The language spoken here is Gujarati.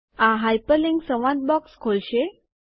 આ હાઇપરલિન્ક સંવાદ બોક્સ ખોલશે